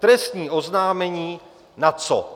Trestní oznámení na co?